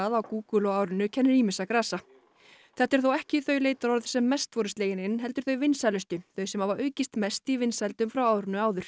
á Google á árinu kennir ýmissa grasa þetta eru þó ekki þau leitarorð sem mest voru slegin inn heldur þau vinsælustu þau sem hafa aukist mest í vinsældum frá árinu áður